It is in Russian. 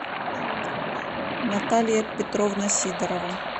наталья петровна сидорова